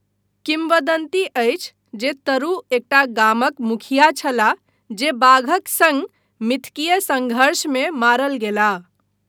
किम्वदन्ति अछि जे तरू एकटा गामक मुखिया छलाह जे बाघक सङ्ग मिथकीय संघर्षमे मारल गेलाह।